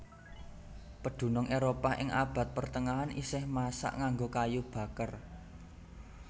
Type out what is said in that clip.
Pedunung Éropah ing abad pertengahan isih masak nganggo kayu baker